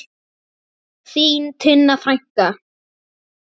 Þín Tinna frænka.